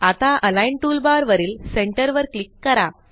आता align toolbar वरील centre वर क्लिक करा